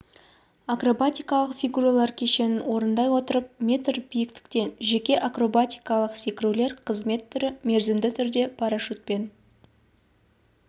акробатикалық фигуралар кешенін орындай отырып метр биіктіктен жеке акробатикалық секірулер қызмет түрі мерзімді түрде парашютпен